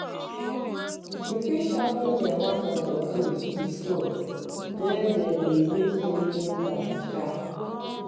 you fit sharpen de mouth of your tools wit stone wey dem dey use take make am sharp.